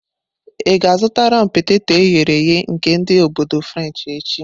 Ị ga-azụtara m peteto eghere eghe nke ndi obodo frenshi echi?